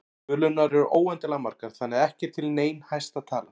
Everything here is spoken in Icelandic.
Tölurnar eru óendanlega margar þannig að ekki er til nein hæsta tala.